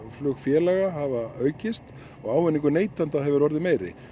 flugfélaga hafa aukist og ávinningur neytenda hefur orðið meiri